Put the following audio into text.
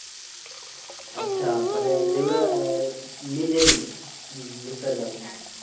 আচ্ছা মানে যেগুলো আহ নিজেরই বুঝতে পারলাম।